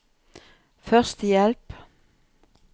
førstehjelp